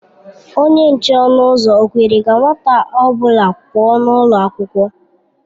Onye nche ọnụ ụzọ ọ kwere ka nwata ọ bụla pụọ ​​n'ụlọ akwụkwọ?